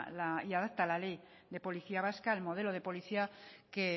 y adapta la ley de policía vasca al modelo de policía que